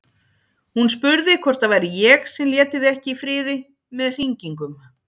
Hún spurði hvort það væri ég sem léti þig ekki í friði með hringingum.